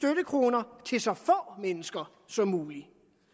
vil så få mennesker som muligt